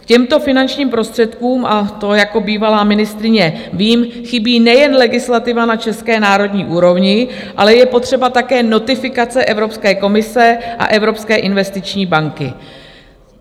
K těmto finančním prostředkům - a to jako bývalá ministryně vím - chybí nejen legislativa na české národní úrovni, ale je potřeba také notifikace Evropské komise a Evropské investiční banky.